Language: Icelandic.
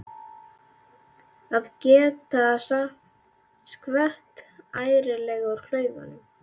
Að geta skvett ærlega úr klaufunum!